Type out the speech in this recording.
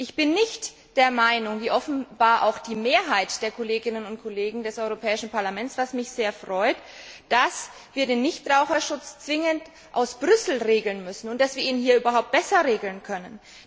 Ich bin nicht der Meinung wie offenbar auch die Mehrheit der Kolleginnen und Kollegen des Europäischen Parlaments, was mich sehr freut dass wir den Nichtraucherschutz zwingend von Brüssel aus regeln müssen und dass wir ihn hier überhaupt besser regeln können.